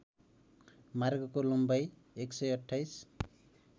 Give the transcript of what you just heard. मार्गको लम्बाई १२८